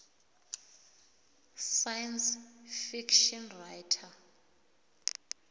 science fiction writer